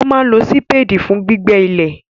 Wọ́n máa n lo sípédì fún gbígbẹ́ ilẹ̀